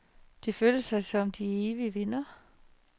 De følte sig som de evige vindere.